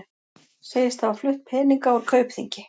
Segist hafa flutt peninga úr Kaupþingi